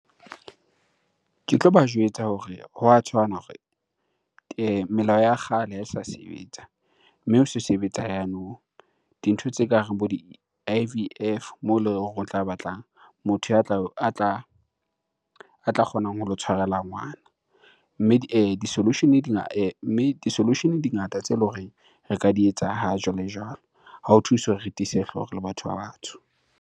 Ke tloba jwetsa hore hwa tshwana hore melao ya kgale ha e sa sebetsa, mme ho so sebetsa ya nou. Dintho tse kareng bo di-I_V_F moo eleng hore o tla batla motho ya tla a tla kgonang ho lo o tshwarela ngwana. Mme di-solution-e di solution di ngata tse leng hore re ka di etsa ha jwale-jwalo. Ha ho thuse hore re tiise hlooho re le batho ba batsho.